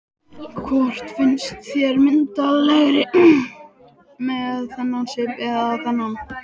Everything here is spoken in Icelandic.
Hvort finnst þér ég myndarlegri með þennan svip eða þennan?